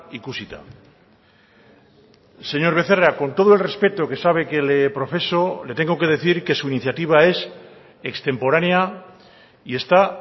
ikusita señor becerra con todo el respeto que sabe que le profeso le tengo que decir que su iniciativa es extemporánea y está